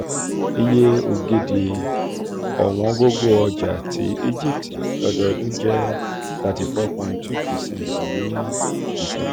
iye ogidi owóngogo ọjà tí egypt lọ́dọọdún jẹ́ thirty four point two x percent ní december